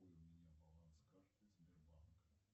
какой у меня баланс карты сбербанк